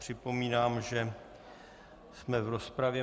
Připomínám, že jsme v rozpravě.